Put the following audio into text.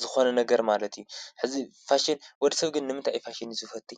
ዝኾነ ነገር ማለት እዩ፡፡ ሕዚ ፋሽን ወዲ ሰብ ግን ንምታይ ፋሽን ዝፈቲ?